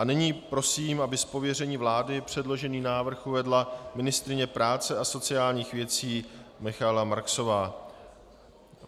A nyní prosím, aby z pověření vlády předložený návrh uvedla ministryně práce a sociálních věcí Michaela Marksová.